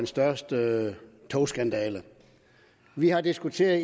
største togskandale vi har diskuteret